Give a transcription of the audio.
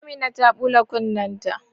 Amina ta bula kunne ta